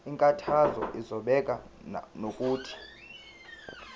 inkantolo izobeka nokuthi